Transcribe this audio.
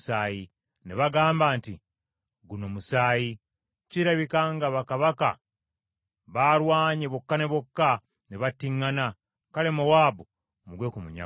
Ne bagamba nti, “Guno musaayi! Kirabika nga bakabaka baalwanye bokka ne bokka, ne battiŋŋana, kale Mowaabu mugwe ku munyago.”